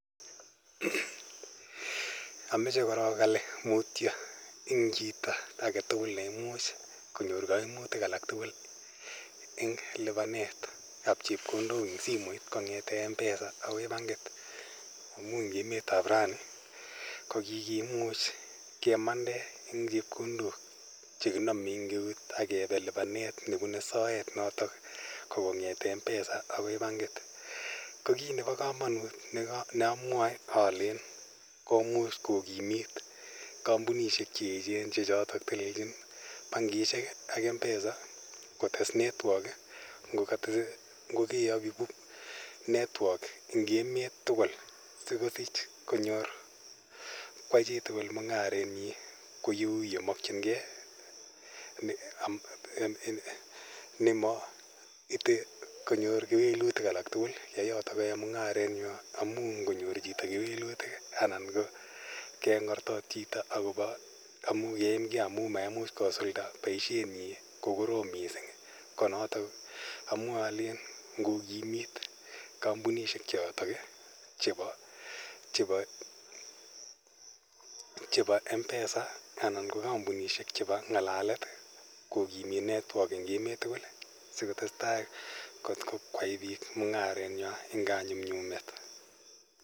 Amoche korong ale mutyo eng chito agetugul neimuch konyor koimutik alak tugul eng lipanetab chepkondok kong'eten M-pesa akoi bankit amun eng emetab raini kokikimuch kemande en chepkondok chekinome eng eut akebe lipanet notok nebune soet noto ko kong'eten M-pesa akoi Bankit ko kit neamwae alen komuch kokimit kampunishek che echen che chotok telelchin bankishek ak M-pesa kotes network ngokeaki network eng emet tugul sikosich konyor kwai chitugul mung'arenyin kou yemongyinge nemo ite konyor kewelutik alatugul yo yoto koyoe mung'arenywany amun ngonyor chito kewelutik anan keng'ortot chito amun yeimgee amun mamuch kosulda boisienyin kokorom missing ii ko notok amwae alen ngokimit kampunishek choton ii chepo M-pesa anan ko kampunishek chebo ng'alalet kokimit network eng emet tugul sikotes tai kotakwai biik mung'aret eng kanyumnyumet.